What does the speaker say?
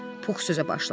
Pux sözə başladı.